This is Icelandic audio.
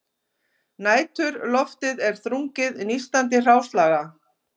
Næturloftið er þrungið nístandi hráslaga